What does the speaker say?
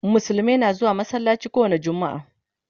musulmai na zuwa masallaci kowani jumma'a